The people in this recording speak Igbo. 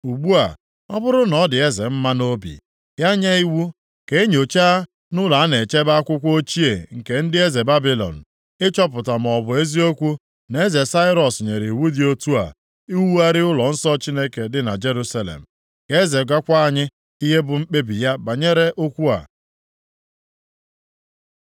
Ugbu a, ọ bụrụ na ọ dị eze mma nʼobi, ya nye iwu ka e nyochaa nʼụlọ a na-echebe akwụkwọ ochie nke ndị eze Babilọn, ịchọpụta maọbụ eziokwu na eze Sairọs nyere iwu dị otu a iwugharị ụlọnsọ Chineke dị na Jerusalem. Ka eze gwakwa anyị ihe bụ mkpebi ya banyere okwu a.